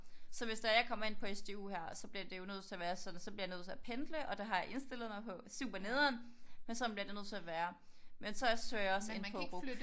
Så hvis det er at jeg at kommer ind på SDU her så bliver det jo nødt til at være sådan så bliver jeg nødt til at pendle. Og det har jeg indstillet mig på. Super nederen men sådan bliver det nødt til at være. Men så søger jeg også ind på RUC